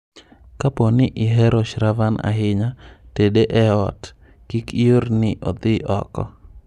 Kapo ni ihero Shravan ahinya, tede e ot, kik ior ni odhi oko.